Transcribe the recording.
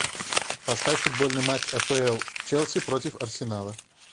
поставь футбольный матч апл челси против арсенала